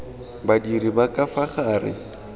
badiri ba ka fa gare